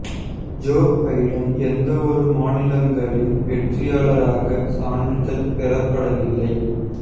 Joe Biden எந்த ஒரு மாநிலங்களின் வெற்றியாளராக சான்றிதழ் பெறப்படவில்லை